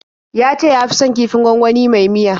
Ya ce ya fi son kifin gwangwani mai miya.